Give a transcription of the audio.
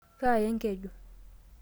Kaaya enkeju.